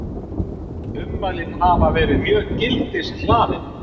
Ummælin hafi verið mjög gildishlaðin